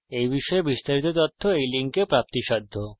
এই বিষয়ে বিস্তারিত তথ্য এই link প্রাপ্তিসাধ্য http:// spokentutorial org/nmeictintro